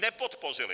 Nepodpořili.